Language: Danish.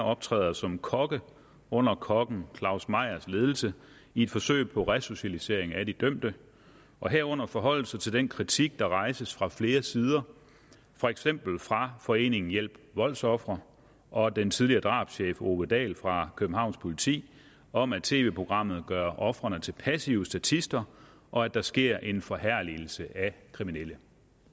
optræder som kokke under kokken claus meyers ledelse i et forsøg på resocialisering af de dømte og herunder forholde sig til den kritik der rejses fra flere sider for eksempel fra foreningen hjælp voldsofre og den tidligere drabschef ove dahl fra københavns politi om at tv programmet gør ofrene til passive statister og at der sker en forherligelse af kriminelle